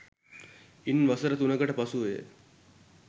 ඉන් වසර තුනකට පසුවය